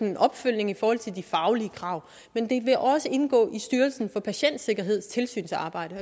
en opfølgning i forhold til de faglige krav men det vil også indgå i styrelsen for patientsikkerheds tilsynsarbejde